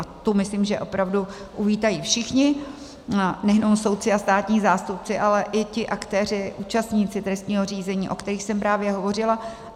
A to myslím, že opravdu uvítají všichni, nejenom soudci a státní zástupci, ale i ti aktéři, účastníci trestního řízení, o kterých jsem právě hovořila.